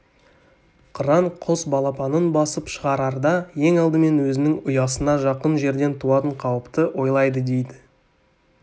қыран құс балапанын басып шығарарда ең алдымен өзінің ұясына жақын жерден туатын қауіпті ойлайды дейді